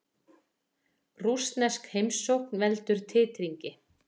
Rússnesk heimsókn veldur titringi